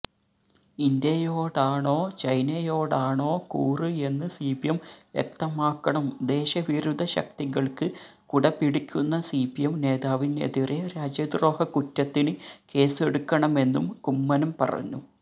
ഇന്ത്യയോടാണോ ചൈനയോടാണോ കൂറ് എന്ന് സിപിഎം വ്യക്തമാക്കണം ദേശവിരുദ്ധ ശക്തികൾക്ക് കുടപിടിക്കുന്ന സിപിഎം നേതാവിനെതിരെ രാജ്യദ്രോഹക്കുറ്റത്തിന് കേസെടുക്കണമെന്നും കുമ്മനം പറഞ്ഞു